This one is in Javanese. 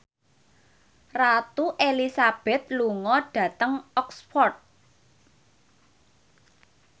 Ratu Elizabeth lunga dhateng Oxford